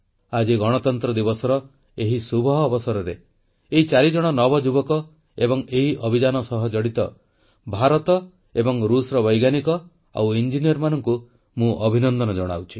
ଆଜି ଗଣତନ୍ତ୍ର ଦିବସର ଏହି ଶୁଭ ଅବସରରେ ଏଇ ଚାରିଜଣ ନବଯୁବକ ଏବଂ ଏହି ଅଭିଯାନ ସହ ଜଡ଼ିତ ଭାରତ ଓ ରୁଷର ବୈଜ୍ଞାନିକ ଏବଂ ଇଞ୍ଜିନିୟରମାନଙ୍କୁ ମୁଁ ଅଭିନନ୍ଦନ ଜଣାଉଛି